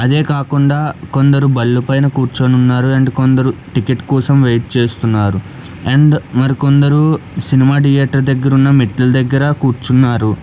అదే కాకుండా కొందరు బళ్ళు పైన కూర్చోనున్నారు అండ్ కొందరు టికెట్ కోసం వెయిట్ చేస్తున్నారు అండ్ మరికొందరు సినిమా ధియేటర్ దగ్గర ఉన్న మెట్ల దగ్గర కూర్చున్నారు.